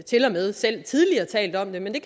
tilmed selv tidligere talt om det men det